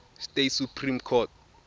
states supreme court